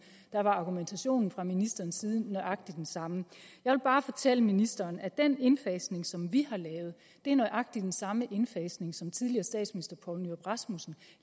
var argumentationen fra ministerens side nøjagtig den samme jeg vil bare fortælle ministeren at den indfasning som vi har lavet er nøjagtig den samme indfasning som tidligere statsminister poul nyrup rasmussen